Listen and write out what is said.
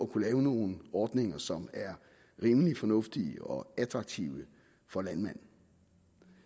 kunne lave nogle ordninger som er rimelig fornuftige og attraktive for landmanden